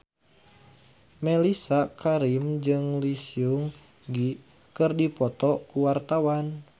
Mellisa Karim jeung Lee Seung Gi keur dipoto ku wartawan